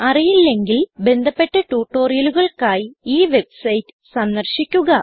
അറിയില്ലെങ്കിൽ ബന്ധപ്പെട്ട ട്യൂട്ടോറിയലുകൾക്കായി ഈ വെബ്സൈറ്റ് സന്ദർശിക്കുക